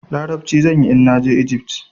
Larabci zan yi in na je Ijift.